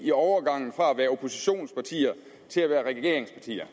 i overgangen fra at være oppositionspartier til at være regeringspartier